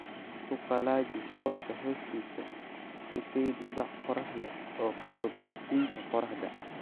Ku qallaji hooska hoostiisa; ku kaydi bac qorrax leh oo ka fog iftiinka qorraxda